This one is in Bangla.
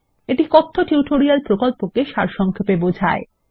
এটি কথ্য টিউটোরিয়াল প্রকল্পকে সারসংক্ষেপে বোঝায়